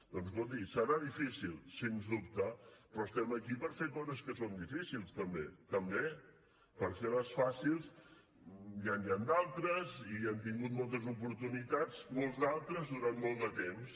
doncs escolti serà difícil sense dubte però estem aquí per fer coses que són difícils també també per fer les fàcils ja n’hi han d’altres i hem tingut moltes oportunitats molts d’altres durant molt de temps